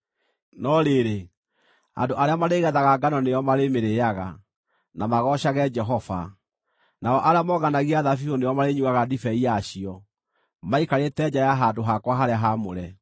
no rĩrĩ, andũ arĩa marĩgethaga ngano nĩo marĩmĩrĩĩaga, na magoocage Jehova, nao arĩa monganagia thabibũ nĩo marĩnyuuaga ndibei yacio maikarĩte nja ya handũ hakwa harĩa haamũre.”